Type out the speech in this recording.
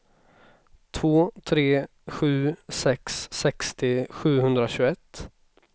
två tre sju sex sextio sjuhundratjugoett